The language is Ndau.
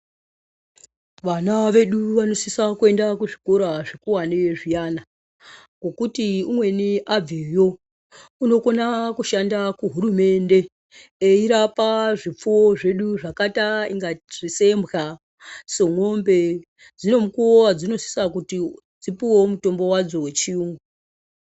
Vana vedu vanosisa kuenda kuzvikoro zvikuwani zviyana ngekuti umweni abveyo unokona kushanda kuhurumende eirape zvipfuwo zvdu zvakaita inga sembwa semwombe dzine mukuwo wadzinosisa kuti dzipuwewo mutombo wadzo wechiyu.